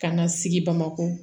K'an ka sigi bamakɔ